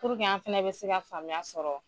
an fɛnɛ bɛ se ka faamuya sɔrɔ